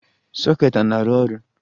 Soket a na-arụ ọrụ?